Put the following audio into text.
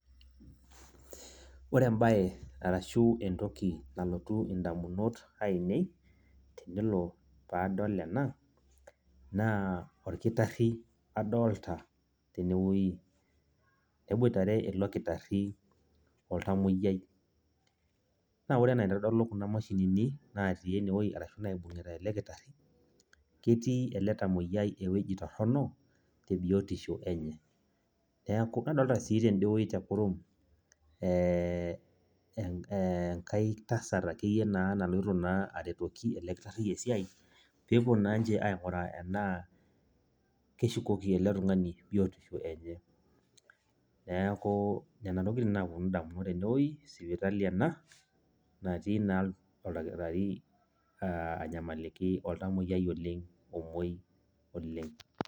ore ebae ashu entoki nalotu idamunot aainei, tenelo pee adol enanaa orkitari adoolta. tene wueji neboirtare ele kitari oltamoyiai. naa ore anaa enaitodolu kuna mashini ninatii ene wueji arashu naibungita ele kitari. keti ele tamaoyiai ewueji torono. tebiotisho enye. neeku nadoolta sii tidie wuei tekurum ee enkae tasat akeyie naa naloito naa aretoki ele kitari esiai, pee epuo naa ninche ainguraa enaa keshukoki ele tungani biotisho enye. neeku nena tokitin naapuonu damunot tene wueji sipitali ena natii naa oldakitari aa anyamaliki oltamiyiai oleng omouoi olng.